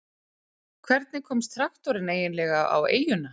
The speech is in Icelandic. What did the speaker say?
hvernig komst traktorinn eiginlega á eyjuna